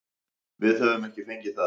Við höfum ekki fengið það.